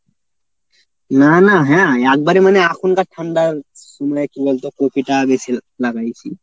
না না হ্যাঁ একবারে মানে এখনকার ঠান্ডা সময়ে কী বলতো কপিটা আগে লাগায়েছি।